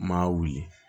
M'a wuli